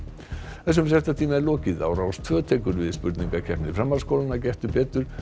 þessum fréttatíma er lokið á Rás tveggja tekur við spurningakeppni framhaldsskólanna Gettu betur